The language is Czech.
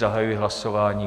Zahajuji hlasování.